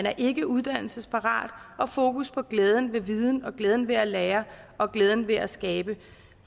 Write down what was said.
er ikkeuddannelsesparat og fokus på glæden ved viden og glæden ved at lære og glæden ved at skabe